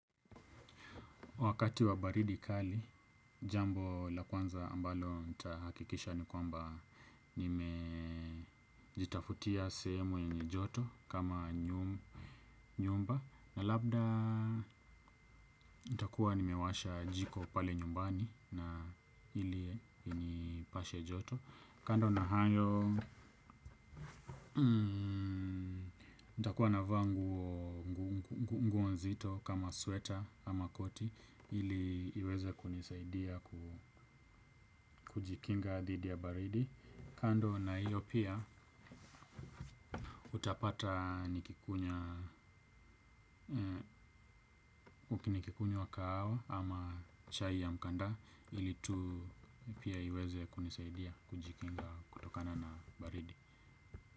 Wakati wa baridi kali, jambo la kwanza ambalo nitahakikisha ni kwamba nimejitafutia sehemu yenye joto kama nyumba labda nitakuwa nimewasha jiko pale nyumbani na ili inipashe joto. Kando na hayo, nitakua na vaa nguo nzito kama sweater ama koti ili iweze kunisaidia kujikinga dhidi ya baridi. Kando na hiyo pia utapata nikikunywa kahawa ama chai ya mkanda ili tu pia iweze kunisaidia kujikinga kutokana na baridi.